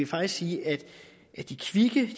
faktisk sige at de kvikke i